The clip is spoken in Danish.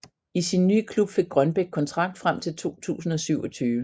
I sin nye klub fik Grønbæk kontrakt frem til 2027